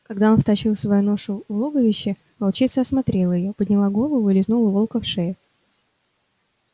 когда он втащил свою ношу в логовище волчица осмотрела её подняла голову и лизнула волка в шею